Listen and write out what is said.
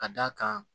Ka d'a kan